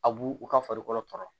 A b'u u ka farikolo tɔɔrɔ